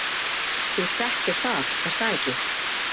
Þú þekkir það er það ekki?